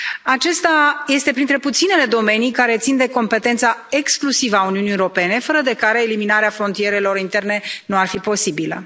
Acesta este printre puținele domenii care țin de competența exclusivă a Uniunii Europene, fără de care eliminarea frontierelor interne nu ar fi posibilă.